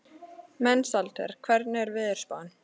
Mensalder, hvernig er veðurspáin?